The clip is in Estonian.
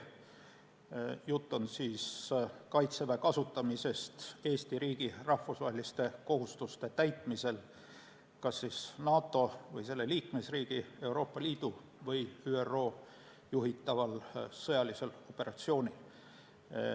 Jutt on Kaitseväe kasutamisest Eesti riigi rahvusvaheliste kohustuste täitmisel kas NATO või selle liikmesriigi, Euroopa Liidu või ÜRO juhitaval sõjalisel operatsioonil.